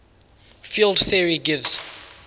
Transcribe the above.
field theory gives